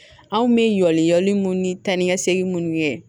Anw bɛ yaali minnu ni ta ni ka segin minnu kɛ